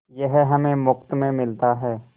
यह हमें मुफ्त में मिलता है